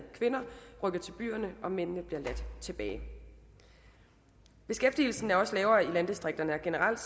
kvinder rykker til byerne og mændene bliver ladt tilbage beskæftigelsen er også lavere i landdistrikterne og generelt